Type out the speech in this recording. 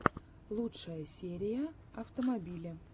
лучшая серия автомобили